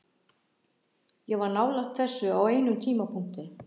Ég var nálægt þessu á einum tímapunkti.